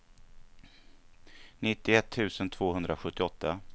nittioett tusen tvåhundrasjuttioåtta